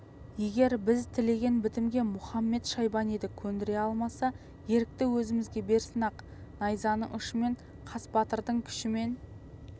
егер біз тілеген бітімге мұхамед-шайбаниды көндіре алмаса ерікті өзімізге берсін ақ найзаның ұшымен қас батырдың күшімен